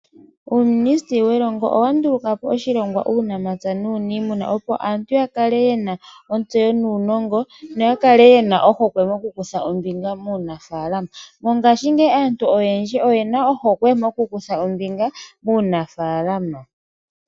Uuministeli welongo owa nduluka po oshilongwa uunamapya nuuniimuna opo aantu ya kale yena ontseyo nuunongo, no ya kale yena ohokwe okukutha ombinga muunafalama. Mongashingeyi aantu oyendji oyena ohokwe mokukutha ombinga muunafalama.